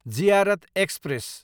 Ziarat express